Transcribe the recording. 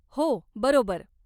हो, बरोबर.